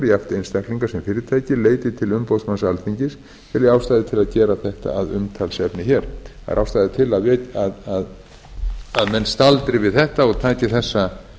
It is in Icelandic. jafnt einstaklingar sem fyrirtæki leiti til umboðsmanns alþingis tel ég ástæðu til að gera þetta að umtalsefni hér það er ástæða til að menn staldri við þetta og taki þessa